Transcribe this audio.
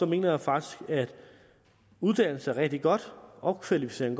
mener jeg faktisk at uddannelse er rigtig godt og at opkvalificering